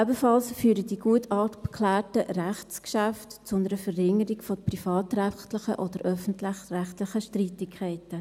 Ebenso führen die gut abgeklärten Rechtsgeschäfte zu einer Verringerung von privatrechtlichen oder öffentlich-rechtlichen Streitigkeiten.